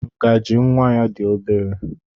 Ngaji nwa ya dị obere.